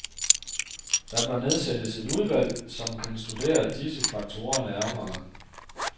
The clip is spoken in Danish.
Der bør nedsættes et udvalg, som kan studere disse faktorer nærmere.